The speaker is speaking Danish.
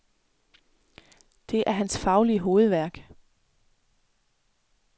Det er hans faglige hovedværk.